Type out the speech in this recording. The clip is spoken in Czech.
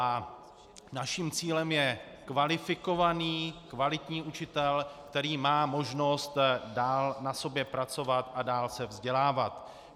A naším cílem je kvalifikovaný, kvalitní učitel, který má možnost dál na sobě pracovat a dál se vzdělávat.